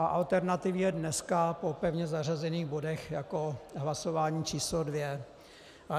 A alternativně dneska po pevně zařazených bodech jako hlasování číslo dvě.